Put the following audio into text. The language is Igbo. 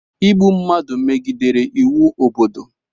Ịgbụ mmadụ megidere iwu obodo